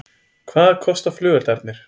Hvað kosta flugeldarnir